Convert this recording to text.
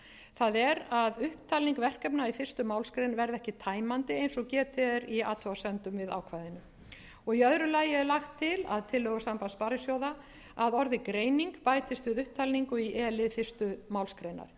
það er að upptalning verkefna í fyrstu málsgrein verði ekki tæmandi eins og getið er í athugasemdum við ákvæðinu í öðru lagi er lagt til að tillögur sambands sparisjóða að orðið greining bætist við upptalningu í e lið fyrstu málsgrein